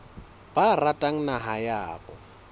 ba ratang naha ya habo